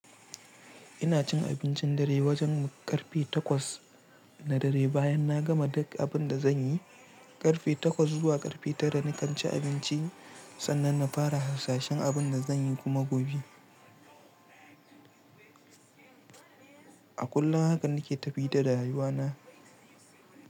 Ina cin abincin dare wajen karfe takwas na dare bayan na gama duk abin da zan yi. Karfe takwas zuwa karfe tara na kan ci abinci sannan na fara hasashen abin da zan yi kuma gobe. A kullum haka nake tafi da rayuwa na.